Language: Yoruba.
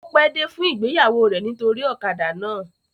O pe dé fún ìgbéyàwó rẹ nitori ọ̀kadà náà.